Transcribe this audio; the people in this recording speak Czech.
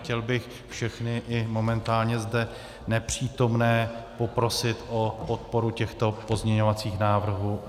Chtěl bych všechny, i momentálně zde nepřítomné, poprosit o podporu těchto pozměňovacích návrhů.